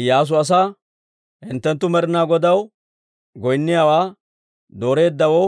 Iyyaasu asaa, «Hinttenttu Med'ina Godaw goynniyaawaa dooreeddawoo